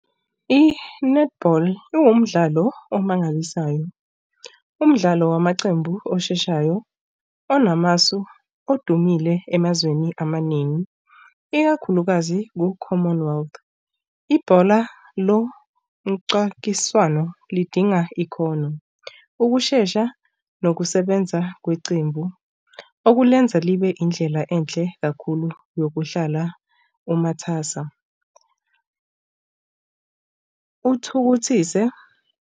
I-netball iwumdlalo omangalisayo umdlalo wamacembu osheshayo onamasu odumile emazweni amaningi, ikakhulukazi ku-common world. Ibhola lomcwakiswano lidinga ikhono, ukushesha nokusebenza kweqembu okulenza libe indlela enhle kakhulu yokuhlala umathasa. Kuthukuthise.